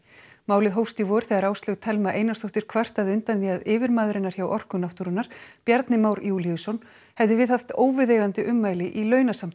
málið hófst í vor þegar Áslaug Thelma Einarsdóttir kvartaði undan því að yfirmaður hennar hjá Orku náttúrunnar Bjarni Már Júlíusson hefði viðhaft óviðeigandi ummæli í